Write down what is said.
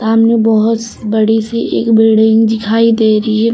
सामने बहोत बड़ी सी एक बिल्डिंग दिखाई दे रही है।